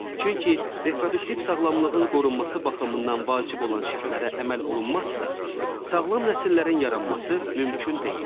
Çünki reproduktiv sağlamlığın qorunması baxımından vacib olan şərtlərə əməl olunmazsa, sağlam nəsillərin yaranması mümkün deyil.